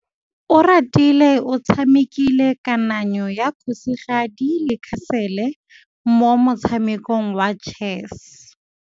Oratile o tshamekile kananyô ya kgosigadi le khasêlê mo motshamekong wa chess.